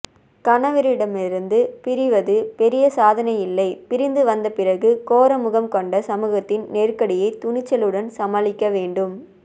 கணவனிடமிருந்து பிரிவது பெரிய சாதனையில்லை பிரிந்து வந்தப் பிறகு கோர முகம்கொண்ட சமூகத்தின் நெருக்கடியை துணிச்சலுடன் சாமாளிக்க வேண்டும்